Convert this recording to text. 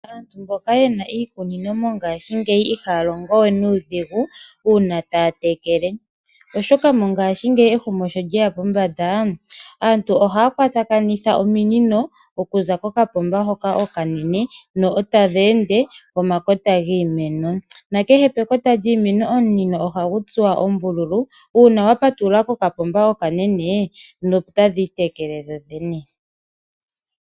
Aantu mboka yena iikunino mongaashingeyi ihaya longo we nuudhigu uuna taya tekele, oshoka mongaashingeyi ehumokomeho sho lyeya pombanda aantu ohaya kwatakanitha ominino okuza kokapomba hoka okanene na eta dheende pomakota giimeno, nakehe pekota lyiimeno omunino ohagu tsuwa ombululu, uuna wa patulula kakapomba okanene otadhi itekele dhodhene.